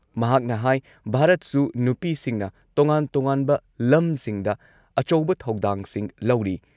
ꯃꯍꯥꯛꯅ ꯍꯥꯏ ꯚꯥꯔꯠꯁꯨ ꯅꯨꯄꯤꯁꯤꯡꯅ ꯇꯣꯉꯥꯟ-ꯇꯣꯉꯥꯟꯕ ꯂꯝꯁꯤꯡꯗ ꯑꯆꯧꯕ ꯊꯧꯗꯥꯡꯁꯤꯡ ꯂꯧꯔꯤ ꯫